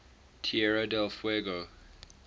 tierra del fuego